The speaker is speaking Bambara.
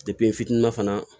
n fitinin na fana